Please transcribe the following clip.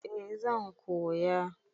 Eh zan koya.